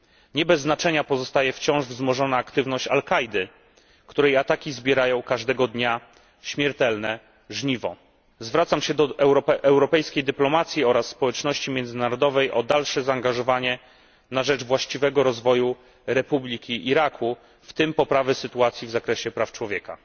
Nie bez znaczenia pozostaje wciąż wzmożona aktywność Al Kaidy, której ataki zbierają każdego dnia śmiertelne żniwo. Zwracam się do europejskiej dyplomacji oraz społeczności międzynarodowej o dalsze zaangażowanie na rzecz właściwego rozwoju Republiki Iraku, w tym poprawy sytuacji w zakresie praw człowieka.